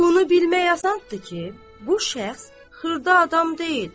Bunu bilmək asandır ki, bu şəxs xırda adam deyil.